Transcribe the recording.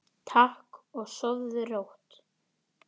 Takk og sofðu rótt.